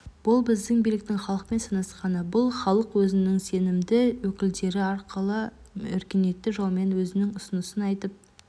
бұл біздің биліктің халықпен санасқаны бұл халық өзінің сенімді өкілдері арқылы өркениетті жолмен өзінің ұсынысын айтып